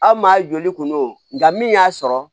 Aw maa joli kun don nka min y'a sɔrɔ